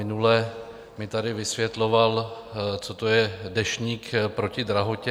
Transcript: Minule mi tady vysvětloval, co to je Deštník proti drahotě.